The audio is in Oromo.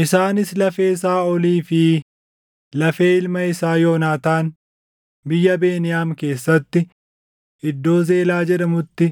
Isaanis lafee Saaʼolii fi lafee ilma isaa Yoonaataan biyya Beniyaam keessatti, iddoo Zeelaa jedhamutti